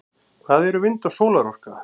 hvað eru vind og sólarorka